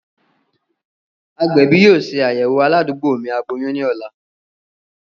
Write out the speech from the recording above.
Agbẹbi yoo ṣe ayẹwo aladugbo mi aboyun ni ọla.